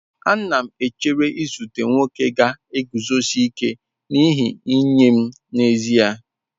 Ana m echere izute nwoke ga-eguzosi ike n'ihe nye m n'ezie.